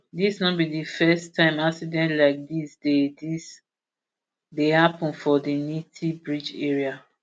dis no be di first time accident like dis dey dis dey happun for di nithi bridge area